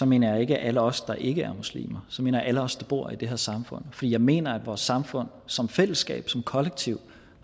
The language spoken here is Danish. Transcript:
mener jeg ikke alle os der ikke er muslimer så mener jeg alle os der bor i det her samfund for jeg mener at vores samfund som fællesskab som kollektiv